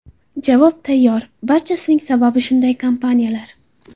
Javob tayyor, barchasining sababi shunday kompaniyalar.